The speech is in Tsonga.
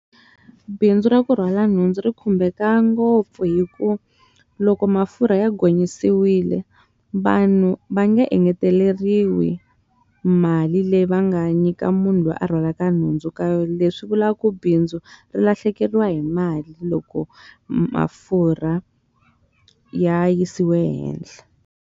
Bindzu ra ku rhwala nhundzu ri khumbeka ngopfu hi ku loko mafurha ya gonyisiwile vanhu va nge engeteleriwi mali leyi va nga nyika munhu loyi a rhwala nhundzu ka yo leswi vulaka ku bindzu ri lahlekeriwa hi mali loko mafurha ya yisiwe ehehla.